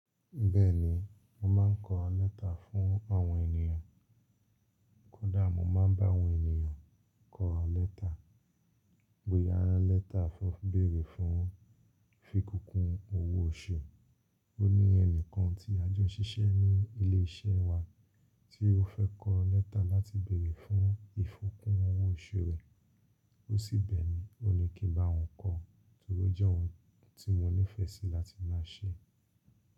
Bẹ́ẹ̀ni, mo máa ń kọ lẹ́tà fún àwọn ènìyàn. Kódà mo máa ń bá àwọn ènìyàn kọ lẹ́tà, boyà lẹ́tà fún ibéèrè fún fìkikún owó òṣu. Ó ní ẹnìkan tí a jọ ṣiṣẹ́ ní ilé iṣẹ́ wa tí ó fẹ́ kọ lẹ́tà láti bèerè fún ìfikún owó òṣu rẹ̀. Ó sì bẹ́ẹ̀ mi, mó ní kí n bá wòn kọ, torí ó jẹ́ ohun tí mo nífẹ̀ẹ́ sí láti máa ṣe.